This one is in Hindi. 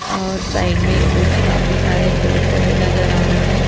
और साइड में कुछ काफी सारे पेड़-पौधे नजर आ रहे हैं।